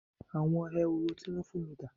Àwọn Ehoro tí wón fún mi dà?